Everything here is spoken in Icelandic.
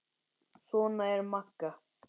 Svona var Magga.